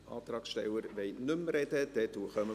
Die Antragsteller wollen nicht mehr sprechen.